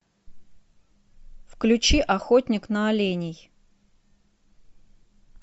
включи охотник на оленей